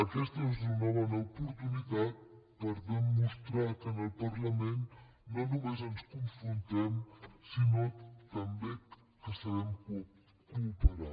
aquesta és una bona oportunitat per demostrar que en el parlament no només ens confrontem sinó també que sabem cooperar